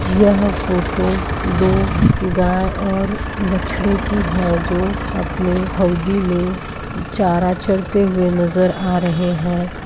यह फोटो दो गाय और बछड़े की है जो अपने हौदी में चारा चरते हुए नजर आ रहे हैं |